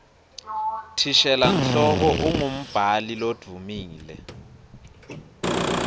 thishela nhloko umgumbhali loduumile